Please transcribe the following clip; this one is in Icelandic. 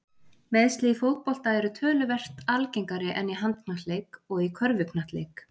Meiðsli í fótbolta eru töluvert algengari en í handknattleik og í körfuknattleik.